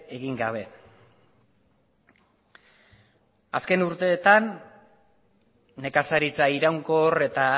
egin gabe azken urteetan nekazaritza iraunkor eta